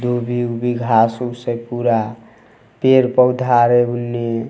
दुभी-उभी घास उस छै पूरा पेड़-पौधा आर उनने ----